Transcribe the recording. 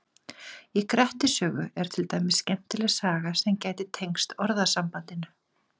Í Grettis sögu er til dæmis skemmtileg saga sem gæti tengst orðasambandinu.